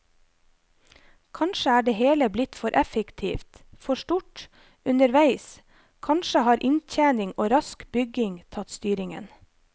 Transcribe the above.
Kanskje er det hele blitt for effektivt, for stort, underveis, kanskje har inntjening og rask bygging tatt styringen.